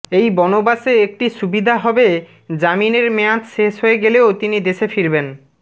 এই বনবাসে একটি সুবিধা হবে জামিনের মেয়াদ শেষ হয়ে গেলেও তিনি দেশে ফিরবেন